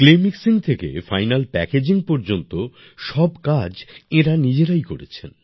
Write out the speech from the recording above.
clay mixing থেকে final packaging পর্যন্ত সব কাজ এনারা নিজেরাই করেছেন